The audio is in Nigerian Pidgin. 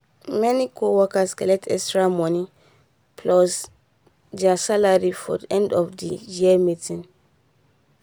many co workers collect extra money plus there salary for end of the year meeting